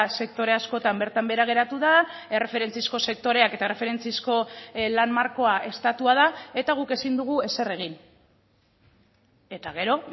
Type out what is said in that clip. sektore askotan bertan behera geratu da erreferentziazko sektoreak eta erreferentziazko lan markoa estatua da eta guk ezin dugu ezer egin eta gero